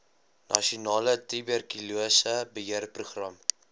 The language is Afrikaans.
nasionale tuberkulose beheerprogram